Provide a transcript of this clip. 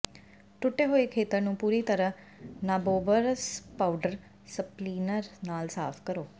ਟੁੱਟੇ ਹੋਏ ਖੇਤਰ ਨੂੰ ਪੂਰੀ ਤਰ੍ਹਾਂ ਨਾਬੋਬਰਸ ਪਾਊਡਰ ਸਪਲੀਨਰ ਨਾਲ ਸਾਫ਼ ਕਰੋ